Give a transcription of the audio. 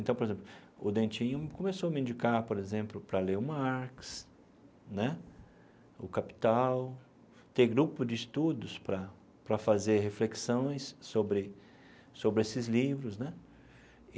Então, por exemplo, o Dentinho começou a me indicar, por exemplo, para ler o Marx né, o Capital, ter grupo de estudos para para fazer reflexões sobre sobre esses livros né.